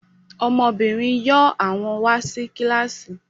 Ọmọbìnrin yóò àwọn wà sí kílàsì